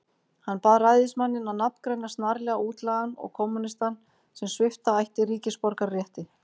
Hann bað ræðismanninn að nafngreina snarlega útlagann og kommúnistann, sem svipta ætti ríkisborgararétti.